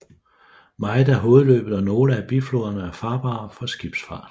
Meget af hovedløbet og nogle af bifloderne er farbare for skibsfart